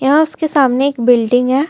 यहां उसके सामने एक बिल्डिंग है.